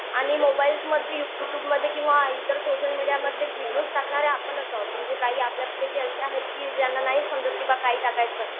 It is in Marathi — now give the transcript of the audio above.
आणि मोबाईल्स मधील युट्युबमध्ये किंवा इतर सोशल मीडियामध्ये व्हिडीओज टाकणारे आपणच आहोत म्हणजे काही आपल्यापैकी असे आहेत की ज्यांना नाही समजत बाबा काय टाकायचं?